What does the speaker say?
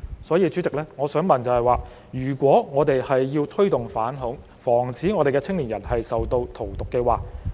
因此，主席，如果我們要推動反恐，防止青年人受到荼毒，